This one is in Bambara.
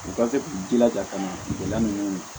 U ka se k'u jilaja ka na feere kɛla ninnu